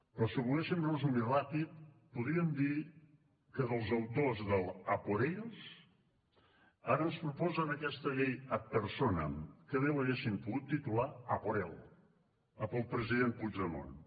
però si ho volguéssim resumir ràpid podríem dir que els autors de l’ a por ellos ara ens proposen aquesta llei ad personam que bé l’haguessin pogut titular a por él a pel president puigdemont